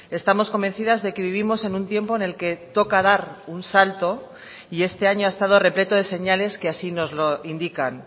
estamos convencidas de que vivimos en un tiempo en el que toca dar un salto y este año ha estado repleto de señales que así nos lo indican